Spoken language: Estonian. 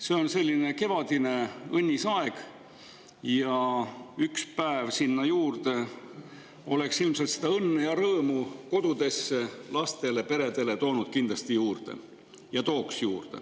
See on selline kevadine õnnis aeg ja üks päev sinna juurde oleks ilmselt toonud ja tooks seda õnne ja rõõmu kodudesse, lastele ja peredele kindlasti juurde.